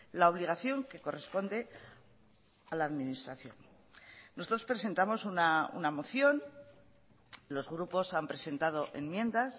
la obligación que corresponde a la administración nosotros presentamos una moción los grupos han presentado enmiendas